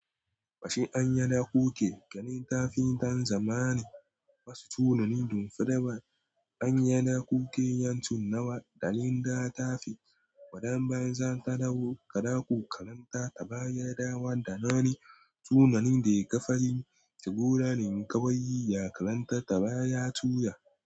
Ba shi an yana kuke kanin kafintan zamanin wasu tunanin dun firibar an yana kuke yancin nawa ɗanin data fi waɗannan zanta dawo kaɗaƙu kalantar ta baya dawa da nani tunanin da ya ƙafa shi sheburanin ƙawaye ya kalantar ta baya tura.